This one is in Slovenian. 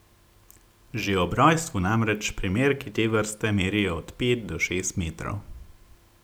Že ob rojstvu namreč primerki te vrste merijo od pet do šest metrov.